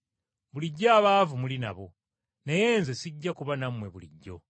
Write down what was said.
Bulijjo abaavu muli nabo, naye nze sijja kuba nammwe bulijjo.